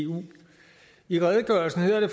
eu i redegørelsen hedder det